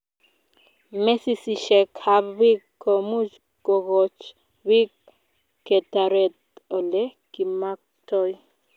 mesisiishek ab piik ko much kokoch piik ketaret ole kimaktoi